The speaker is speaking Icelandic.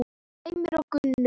Heimir og Gunnur.